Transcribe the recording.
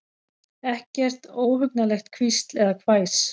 Ekkert óhugnanlegt hvísl eða hvæs.